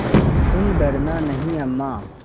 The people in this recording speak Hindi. हैतुम डरना नहीं अम्मा